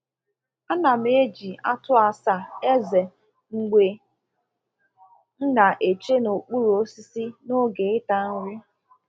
A na m eji atụ asa eze mbge m na eche n'okpuru osisi na oge ịta nri